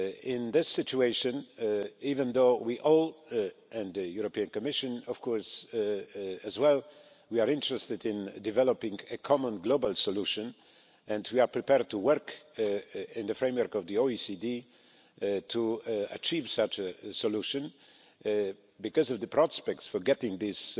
In this situation, even though we are all and the European Commission of course as well interested in developing a common global solution and are prepared to work in the framework of the OECD to achieve such a solution because the prospects for getting this